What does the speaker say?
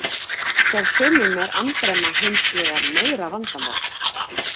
Hjá sumum er andremma hins vegar meira vandamál.